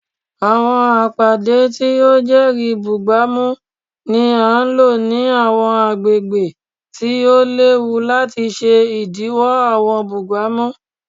Awọn apade ti o jẹri bugbamu ni a lo ni awọn agbegbe ti o lewu lati ṣe idiwọ awọn bugbamu